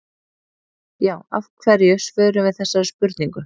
Já, af hverju svörum við þessari spurningu?